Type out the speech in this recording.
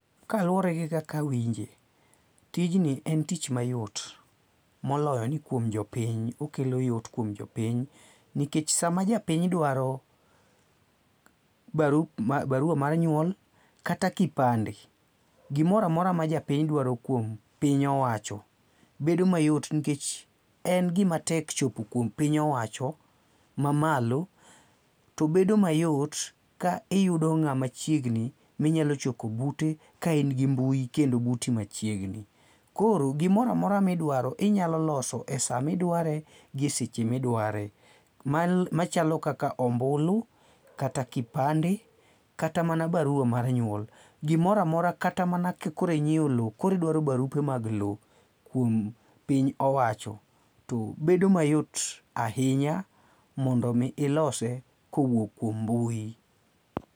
Kaluwore gi kaka awinje, tijni en tich mayot, moloyo ni kuom jopiny okelo yot kuom jopiny nikech sama japiny dwaro baruwa mar nyuok kata kipande, gimoro amora ma japiny dwaro kuom piny owacho, bedo mayot nikech en gima tek chopo kuom piny owacho mamalo to bedo mayot ka iyudo ng'ama machiegni ma inyalo chopo bute ka in gi mbui kendo buti machiegni. Koro gimoro amora midwaro inyalo loso e sama idware eseche ma idware machalo kaka ombulu, kata kipande, kata mana barua mar nyuol. Gimoro amora kata mana ka koro inyiewo lowo koro idwaro barupe mag lowo, kuom piny owacho to bedo mayot ahinya mondo mi ilose kowuok kuom mbui.